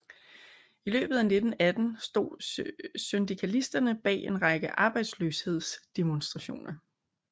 I løbet af 1918 stod syndikalisterne bag en række arbejdsløshedsdemonstrationer